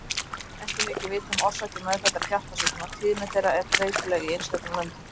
Ekki er mikið vitað um orsakir meðfæddra hjartasjúkdóma: tíðni þeirra er breytileg í einstökum löndum.